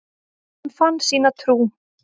Hann fann sína trú.